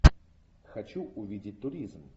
хочу увидеть туризм